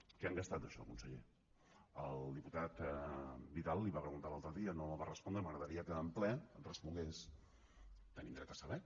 què han gastat d’això conseller el diputat vidal li ho va preguntar l’altre dia no li va respondre m’agradaria que en ple respongués tenim dret a saber